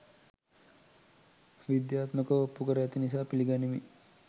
විද්‍යාත්මකව ඔප්පු කර ඇති නිසා පිළිගනිමි